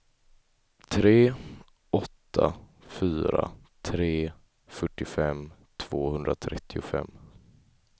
tre åtta fyra tre fyrtiofem tvåhundratrettiofem